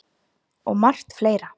Og margt fleira.